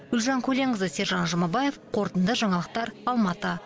гүлжан көленқызы сержан жұмабаев қорытынды жаңалықтар алматы